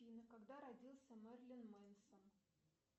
афина когда родился мерлин менсон